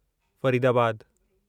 फरीदाबादु